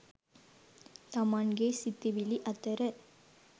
තමන්ගේ සිතිවිලි අතර